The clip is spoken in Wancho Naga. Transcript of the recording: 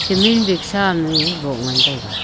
cement bag sa am me boh ngantega.